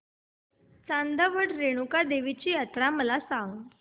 चांदवड रेणुका देवी यात्रा मला सांग